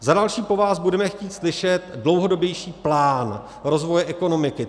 Za další po vás budeme chtít slyšet dlouhodobější plán rozvoje ekonomiky.